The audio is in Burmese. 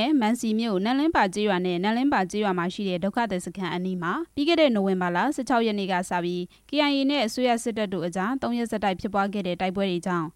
ယ်။ မန်စီမြို့နယ် နမ့်လင်းပါကျေးရွာနဲ့ အဲဒီရွာမှာရှိတဲ့ စစ်ပြေးဒုက္ခသည်စခန်းအနီးမှာ နိုဝင်ဘာလ ၁၆ ရက်နေ့ညပိုင်းက စတင်ဖြစ်ပွားနေတဲ့ တိုက်ပွဲတွေကြောင့်